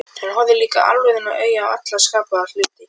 Hann horfði líka alvarlegum augum á alla skapaða hluti.